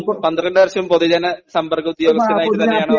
പന്ത്രണ്ട് വർഷം പൊതുജന സംബന്ദ ഉദ്യോഗസ്ഥനായിട്ട് തന്നെയാണോ